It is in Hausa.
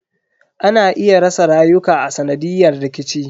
Ana iya rasa rayuka a sanadiyan rikici.